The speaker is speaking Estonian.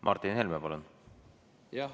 Martin Helme, palun!